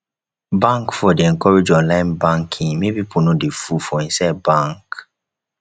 bank for dey encourage online banking make pipu no dey full for inside bank